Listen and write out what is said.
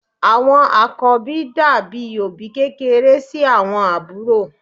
Àwọn àkọ́bí dàbí òbí kékeré sí àwọn àbúrò.